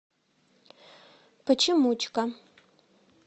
почемучка